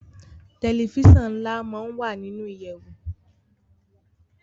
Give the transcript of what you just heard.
Tẹlifíṣàn nla món wá nínú ìyèwù